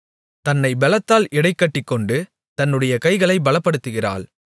தன்னை பெலத்தால் இடைக்கட்டிக்கொண்டு தன்னுடைய கைகளைப் பலப்படுத்துகிறாள்